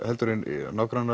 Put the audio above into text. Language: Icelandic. heldur en